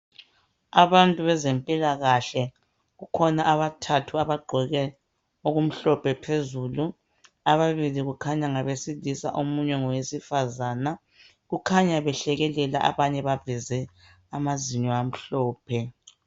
Abantu bezempilakahle kukhona abathathu abagqoke okumhlophe phezulu ababili kukhanya ngabesilisa omunye ngowesifazana kukhanya behlekelela abanye baveze amazinyo amhlophe.